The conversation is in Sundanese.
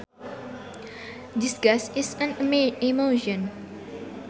Disgust is an emotion